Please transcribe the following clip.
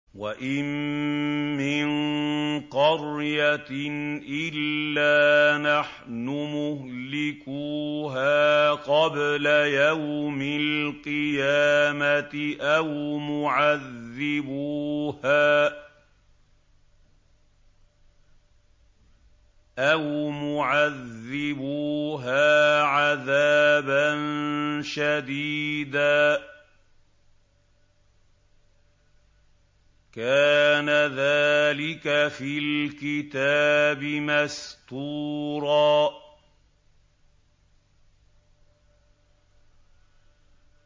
وَإِن مِّن قَرْيَةٍ إِلَّا نَحْنُ مُهْلِكُوهَا قَبْلَ يَوْمِ الْقِيَامَةِ أَوْ مُعَذِّبُوهَا عَذَابًا شَدِيدًا ۚ كَانَ ذَٰلِكَ فِي الْكِتَابِ مَسْطُورًا